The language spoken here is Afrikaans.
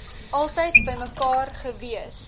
altyd bymekaar gewees